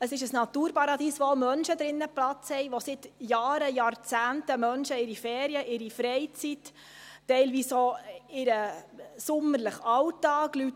Es ist ein Naturparadies, in dem auch Menschen Platz haben, die seit Jahren – Jahrzehnten – ihre Ferien, ihre Freizeit, teilweise auch ihren sommerlichen Alltag, dort verbringen;